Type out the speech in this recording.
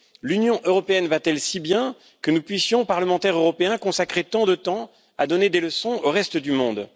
L'Union européenne va t elle si bien que nous puissions, parlementaires européens, consacrer tant de temps à donner des leçons au reste du monde?